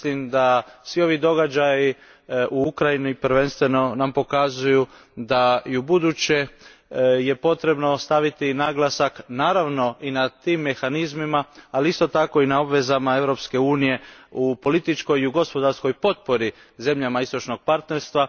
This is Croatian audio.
Mislim da nam svi ovi događaji u Ukrajini prvenstveno pokazuju da je i ubuduće potrebno staviti naglasak naravno i na te mehanizme, ali isto tako i na obveze Europske unije u političkoj i gospodarskoj potpori zemljama Istočnoga partnerstva.